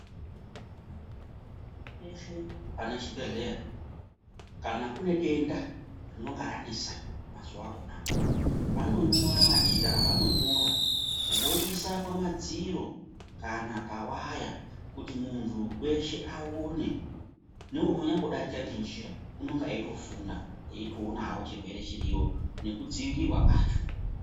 Pane Chibhehlera , kana kune denda rinonga ranesa mazuwa akonawo, vanonyora machira avanonyora voisa pamadziro kana pawaya kuti muntu weshe aone, neunonyambo darika ngenjira unenge eitofunda etionawo chirwere chiriyo nekudziirirwa kwacho.